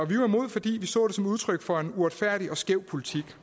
vi var imod fordi vi så det som udtryk for en uretfærdig og skæv politik